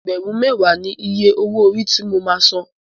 Ẹgbẹ̀rún mẹ́wàá ni iye owó orí ti mo máa san.